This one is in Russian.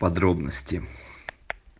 подробности